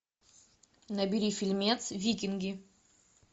набери фильмец викинги